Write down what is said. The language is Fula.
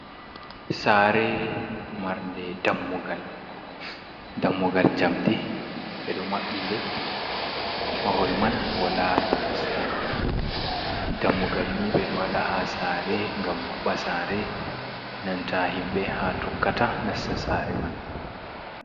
Sare marde dammugal jamdi ɓeɗo maɓɓi nde mahol man wala plasta, dammugal ni ɓeɗo wada ha sare ngam maɓɓa sare, nanta himɓe ha tokkata nasta sare man.